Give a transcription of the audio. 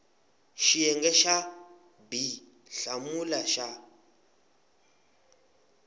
xiyenge xa b hlamula xa